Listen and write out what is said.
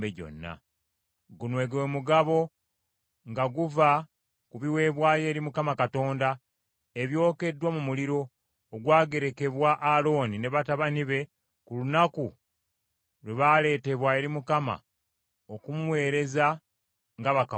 Guno gwe mugabo nga guva ku biweebwayo eri Mukama Katonda ebyokeddwa mu muliro, ogwagerekerwa Alooni ne batabani be ku lunaku lwe baaleetebwa eri Mukama okumuweereza nga bakabona be.